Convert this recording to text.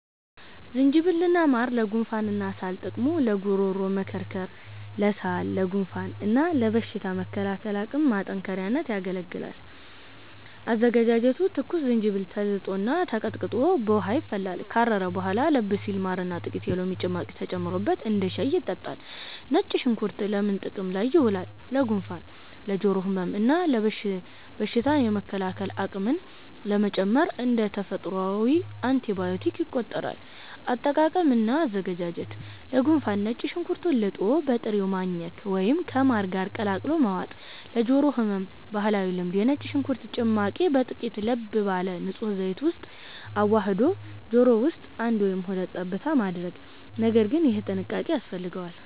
ዝንጅብል እና ማር (ለጉንፋንና ሳል) ጥቅሙ፦ ለጉሮሮ መከርከር፣ ለሳል፣ ለጉንፋን እና ለበሽታ መከላከል አቅም ማጠናከሪያነት ያገለግላል። አዘገጃጀቱ፦ ትኩስ ዝንጅብል ተልጦና ተቀጥቅጦ በውሃ ይፈላል። ካረረ በኋላ ለብ ሲል ማርና ጥቂት የሎሚ ጭማቂ ተጨምሮበት እንደ ሻይ ይጠጣል።. ነጭ ሽንኩርት ለምን ጥቅም ላይ ይውላል? ለጉንፋን፣ ለጆሮ ህመም እና በሽታ የመከላከል አቅምን ለመጨመር (እንደ ተፈጥሯዊ አንቲባዮቲክ ይቆጠራል)። አጠቃቀም እና አዘገጃጀት፦ ለጉንፋን፦ ነጭ ሽንኩርቱን ልጦ በጥሬው ማኘክ ወይም ከማር ጋር ቀላቅሎ መዋጥ። ለጆሮ ህመም (ባህላዊ ልምድ)፦ የነጭ ሽንኩርት ጭማቂን በጥቂቱ ለብ ባለ ንጹህ ዘይት ውስጥ አዋህዶ ጆሮ ውስጥ አንድ ወይም ሁለት ጠብታ ማድረግ (ነገር ግን ይህ ጥንቃቄ ያስፈልገዋል)።